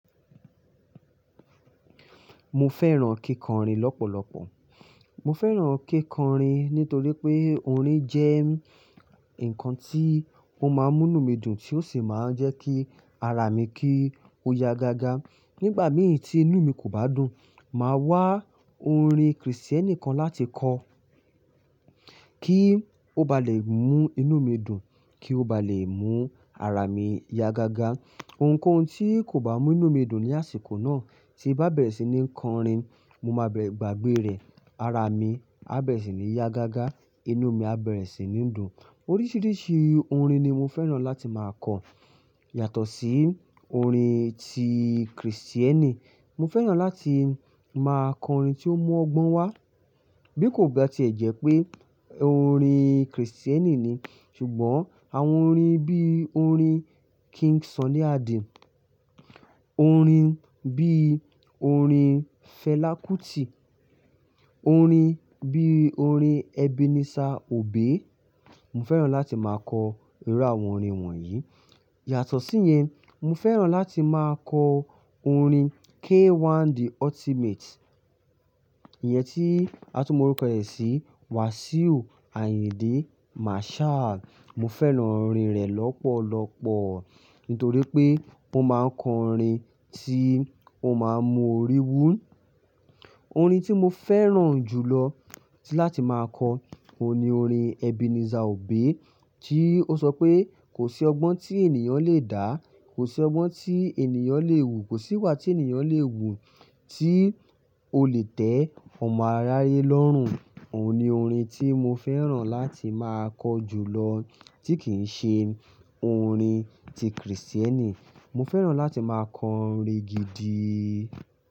Mo fẹ́ràn kíkọrin lọ́pọ̀lọpọ̀. Mo fẹ́ràn kíkọrin nítorí pé orin jẹ́ ǹkan tí ó máa ń mú inú mi dùn tí ó sì máa ń jẹ́ kí ara mi kí ó ya gágá. Nígbà mìí tí inú mi kò bá dùn, màá wá orin Kristẹni kan láti kọ kí ó ba lè mú inú mi dùn, kí ó ba lè mú ara mi ya gágá. Òǹkoǹko tí kò bá mú inú mi dùn ní àsìkò náà tí bá bẹ̀rẹ̀ sí ní kọrin, mo máa bẹ̀rẹ̀, gbàgbé rẹ̀, ara mi á bẹ̀rẹ̀ sí ní ya gágá, inú mi á bẹ̀rẹ̀ sí ní dùn. Oríṣiríṣi orin ni mo fẹ́ràn láti máa kọ yàtọ̀ sí orin ti Kristẹni. Mo fẹ́ràn láti máa kọ orin tí ó mú ọgbọ́n wá bí kò bá ti ẹ jẹ pé orin Kristẹni ni. Ṣùgbọ́n àwọn orin bí orin King Sunny Adé, orin bí orin Fẹlá Kútì, orin bí orin Ebenezer Obey, mo fẹ́ràn láti máa kọ irú àwọn orin wọ̀nyí. Yàtọ̀ sí yẹn, mo fẹ́ràn láti máa kọ orin K1 the Ultimate. Ìyẹn tí a tún mọ̀ orúkọ rẹ̀ sí Wasiu Ayinde Marshal, mo fẹ́ràn orin rẹ̀ lọ́pọ̀lọpọ̀ nítorí pé ó máa ń kọ orin tí ó máa ń mú orí wú. Orin tí mo fẹ́ràn jù lọ láti máa kọ, òun ni orin Ebenezer Obey tí ó sọ pé 'kò sí ọgbọ́n tí ènìyàn le dà, kò sí ọgbọ́n tí ènìyàn le wù, kò síwà tí ènìyàn le wù tí o lè tẹ́ ọmọ aráyé lọ́rùn.' Òun ni orin tí mo fẹ́ràn láti máa kọ jù lọ tí kì í ṣe orin ti Kristẹni. Mo fẹ́ràn láti máa kọ orin gidi.